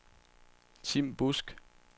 Tim Busk